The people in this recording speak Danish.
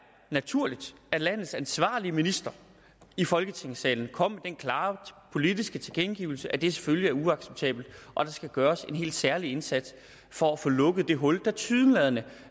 naturligt at landets ansvarlige minister i folketingssalen kom med den klare politiske tilkendegivelse at det selvfølgelig er uacceptabelt og der skal gøres en helt særlig indsats for at få lukket det hul der tilsyneladende